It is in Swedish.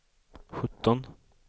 sjutton